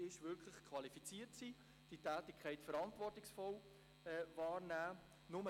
Sie sollen diese Tätigkeit verantwortungsvoll wahrnehmen.